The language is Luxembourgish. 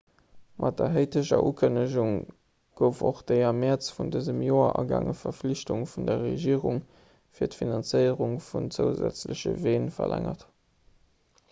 mat der haiteger ukënnegung gouf och déi am mäerz vun dësem joer agaange verflichtung vun der regierung fir d'finanzéierung vun zousätzleche ween verlängert